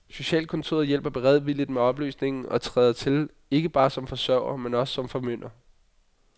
Socialkontoret hjælper beredvilligt med opløsningen og træder til, ikke bare som forsørger, men også som formynder.